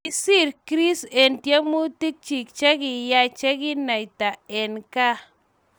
Kisiir Chris eng tyemutik chegiyay cheginaita eng gaa